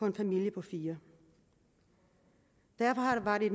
en familie på fire derfor var det